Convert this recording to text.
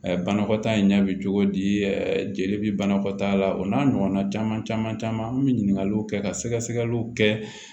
Banakɔtaa in ɲɛ bi cogo di jeli bɛ banakɔtaala o n'a ɲɔgɔnna caman caman caman an be ɲininkaliw kɛ ka sɛgɛsɛgɛliw kɛ